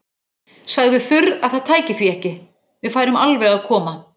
Sagði þurr að það tæki því ekki, við færum alveg að koma.